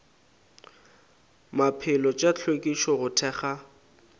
maphelo tša hlwekišo go thekga